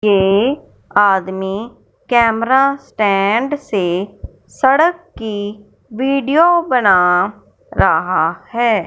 ये आदमी camera stand से सड़क की वीडियो बना रहा है।